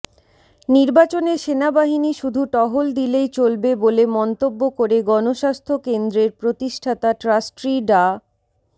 নির্বাচনে সেনাবাহিনী শুধু টহল দিলেই চলবে বলে মন্তব্য করে গণস্বাস্থ্য কেন্দ্রের প্রতিষ্ঠাতা ট্রাস্ট্রি ডা